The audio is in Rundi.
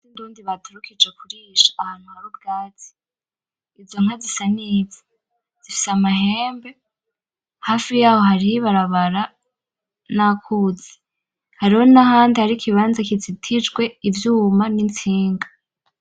Inka zindundi baturukije kurisha ahantu hari ubwatsi , izo nka zisa neza, zifise amahembe , hafi yaho hariho ibarabara n'akuzi , hariho nahandi haridi ikibanza kizitijwe ivyuma n'itsinga.